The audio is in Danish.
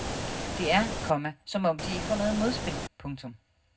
Det er, komma som om de ikke får noget modspil. punktum